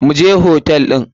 Mu je hotel ɗin.